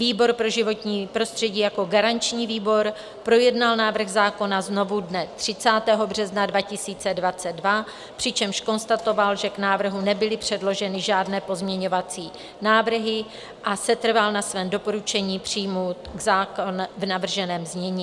Výbor pro životní prostředí jako garanční výbor projednal návrh zákona znovu dne 30. března 2022, přičemž konstatoval, že k návrhu nebyly předloženy žádné pozměňovací návrhy, a setrval na svém doporučení přijmout zákon v navrženém znění.